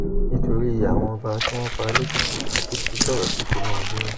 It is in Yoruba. nítorí àwọn ọba tí wọn pa lèkìtì àtìkú sọrọ sí tìǹbù